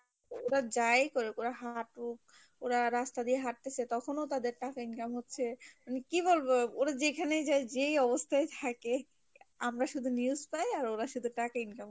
ওরা যাই করুক ওরা হাঁটুক ওরা রাস্তা দিয়ে হাঁটতেছে তখনও তাদের টাকা income হচ্ছে মানে কি বলবো ওরা যেখানেই যাই যেই অবস্থায় থাকে আমরা শুধু news পাই আর ওরা শুধু টাকা income